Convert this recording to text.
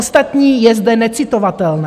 Ostatní je zde necitovatelné.